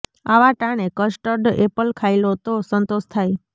આવા ટાણે custard apple ખાઈ લો તો સંતોષ થાય